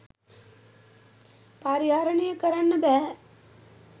පරිහරණය කරන්න බැහැ